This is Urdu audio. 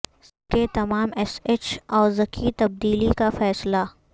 سندھ کے تمام ایس ایچ اوزکی تبدیلی کا فیصلہ